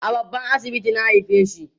a babban asibiti na haifeshi